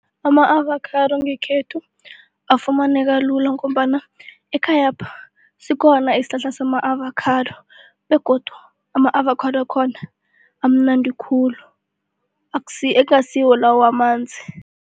Ama-avocado ngekhethu afumaneka lula ngombana ekhayapha sikhona isihlahla sama- avocado begodu ama-avocado wakhona amunandi khulu ingasiwo lawa wamanzi.